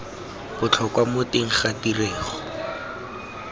botlhokwa mo teng ga tirego